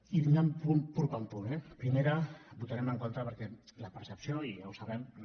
i anant punt per punt eh primera votarem en contra perquè la percepció i ja ho sabem no